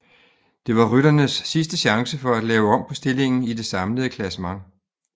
Det var rytternes sidste chance for at lave om på stillingen i det samlede klassement